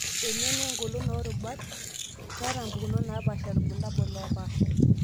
Emion wengolon toorubat, keeta mpukunot naapaasha ilbulabul oopaasha.